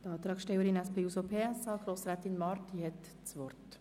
Als Antragstellerin der SP-JUSO-PSA hat Grossrätin Marti das Wort.